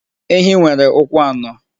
Ehi nwere ụkwụ anọ.